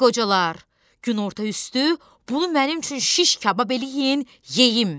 Ay qocalar, günorta üstü bunu mənim üçün şiş kabab eləyin, yeyim!